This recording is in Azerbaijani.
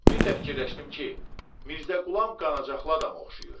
Bir də fikirləşdim ki, Mirzə Qulam qanacaqlı adama oxşayır.